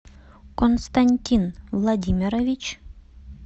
константин владимирович